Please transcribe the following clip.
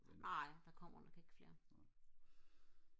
nej der kommer nok ikke flere